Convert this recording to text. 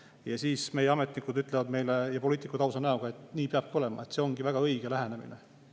Ja siis meie ametnikud ja poliitikud ütlevad meile ausa näoga, et nii peab olema, see ongi väga õige lähenemine.